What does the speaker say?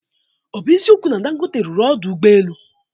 Ọ bụ eziokwu na Dangote rụrụ ọdụ ụgbọelu?